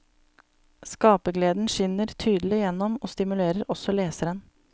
Skapergleden skinner tydelig igjennom og stimulerer også leseren.